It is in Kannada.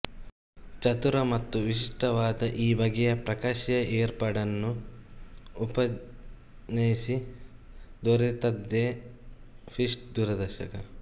ಚತುರ ಮತ್ತು ವಿಶಿಷ್ಟವಾದ ಈ ಬಗೆಯ ಪ್ರಕಾಶೀಯ ಏರ್ಪಾಡನ್ನು ಉಪಜ್ಞಿಸಿ ದೊರೆತದ್ದೇ ಷ್ಮಿಟ್ ದೂರದರ್ಶಕ